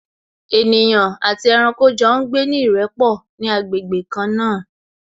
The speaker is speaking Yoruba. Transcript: Ènìyàn àti ẹranko jọ ń gbé ní ìrẹ́pọ̀ ní agbègbè kan náà